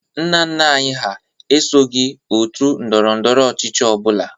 Nna nna anyị hà esoghi òtù ndọrọ ndọrọ ọchịchị ọ bụla.